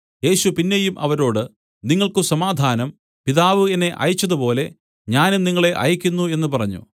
യേശു പിന്നെയും അവരോട് നിങ്ങൾക്ക് സമാധാനം പിതാവ് എന്നെ അയച്ചതുപോലെ ഞാനും നിങ്ങളെ അയയ്ക്കുന്നു എന്നു പറഞ്ഞു